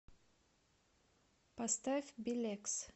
поставь билекс